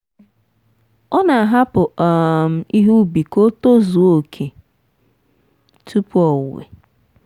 ọ na-ahapụ um ihe ubi ka o tozuo oke tupu owuwe.